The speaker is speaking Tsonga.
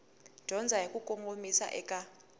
dyondzo hi ku kongomisa eka